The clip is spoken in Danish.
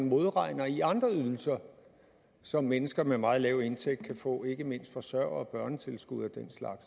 modregnes i andre ydelser som mennesker med meget lav indtægt kan få ikke mindst i forsørger og børnetilskud og den slags